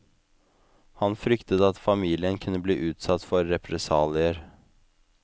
Han fryktet at familien kunne bli utsatt for represalier.